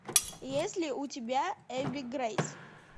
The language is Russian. есть ли у тебя эбби грейс